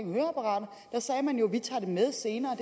om høreapparater sagde man jo vi tager det med senere